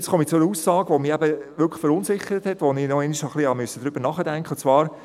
Jetzt komme ich zu einer Aussage, die mich wirklich verunsichert hat und über welche ich nochmals nachdenken musste.